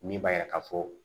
Min b'a yira ka fɔ